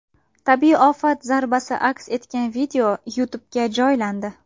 Tabiiy ofat zarbasi aks etgan YouTube’ga joylandi .